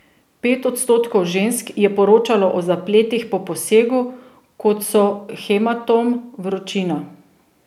Pet odstotkov žensk je poročalo o zapletih po posegu, kot so hematom, vročina.